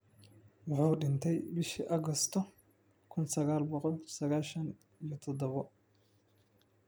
Wuxuu dhintay bishii Agoosto kuun sagaal boqol sagashaan iyo tadhawo .